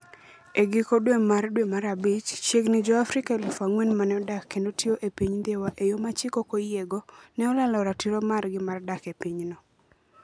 E giko dwe mar dwe mara bich, chiegni Jo - Afrika 4,000 ma ne odak kendo tiyo e piny Dhiwa e yo ma chik oyiego, ne olalo ratiro margi mar dak e pinyno.